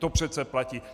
To přece platí.